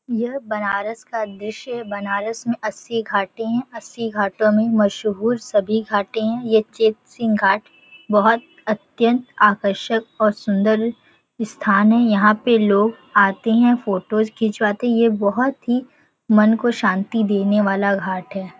यह बनारस का दृश्य है बनारस में अस्सी घाटे है अस्सी घाटों में मशहूर सभी घाटे है। ये चेत सिंह घाट बहोत अत्यंत आकर्षक और सुन्दर स्थान है यहाँ पे लोग आते है फ़ोटोज़ खींचवाते है। ये बहोत ही मन को शांति देने वाला घाट हैं।